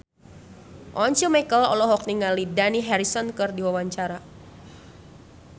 Once Mekel olohok ningali Dani Harrison keur diwawancara